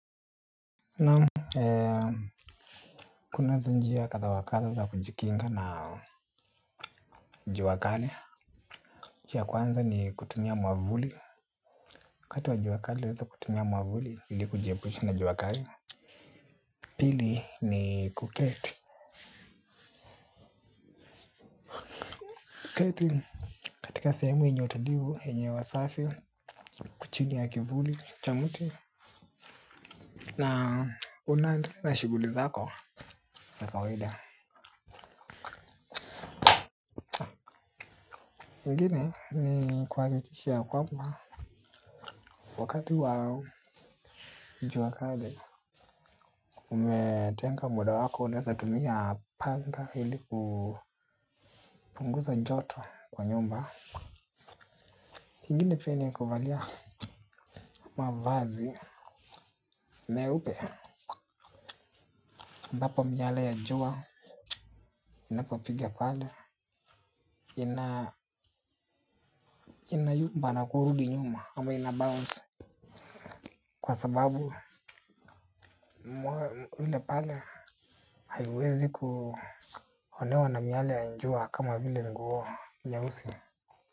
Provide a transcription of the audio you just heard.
Naam kunazo njia kadha wa kadha za kujikinga na jua kali. Njia ya kwanza ni kutumia mwavuli wakati wa jua kali waweza kutumia mwavuli ilikujiepusha na jua kali pili ni kuketi. Kuketi katika sehemu yenye utulivu yenye hewa safi. Kuchiga ya kivuli cha mti. Na unaendelea shughuli zako za kawaida. Mengine ni kuhakikisha kwamba wakati wa jua kali umetenga muda wako unaweza tumia panga ili kupunguza joto kwa nyumba ingine pia ni kuvalia mavazi meupe ambapo miale ya jua inapopiga pale inayumba na kurudi nyuma ama inabounce. Kwa sababu mwili pale haiwezi kuonewa na miale ya jua kama vile nguo nyeusi.